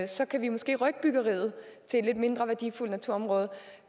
så kan vi måske rykke byggeriet til et lidt mindre værdifuldt naturområde